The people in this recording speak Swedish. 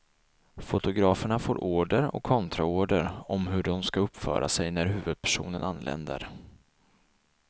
Fotograferna får order och kontraorder om hur de ska uppföra sig när huvudpersonen anländer.